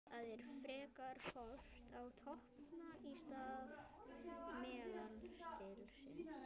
Það er frekar horft á toppanna í stað meðaltalsins.